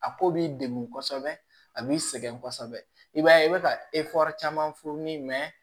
A ko b'i degun kosɛbɛ a b'i sɛgɛn kosɛbɛ i b'a ye i bɛ ka caman fu ni